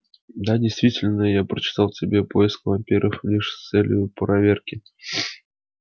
да действительно я прочитал тебе поиск вампиров лишь с целью проверки